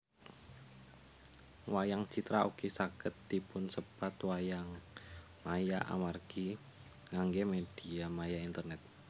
Wayang citra ugi saged dipunsebat wayangmaya amargi ngangge mediamaya internet